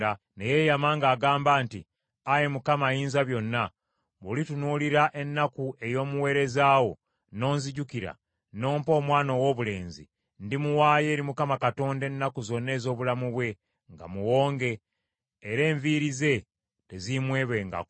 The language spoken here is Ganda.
Ne yeeyama ng’agamba nti, “Ayi Mukama Ayinzabyonna, bw’olitunuulira ennaku ey’omuweereza wo, n’onzijukira, n’ompa omwana owoobulenzi, ndimuwaayo eri Mukama Katonda ennaku zonna ez’obulamu bwe nga muwonge, era enviiri ze teziimwebwengako.”